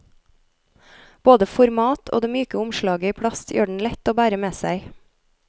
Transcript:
Både format og det myke omslaget i plast gjør den lett å bære med seg.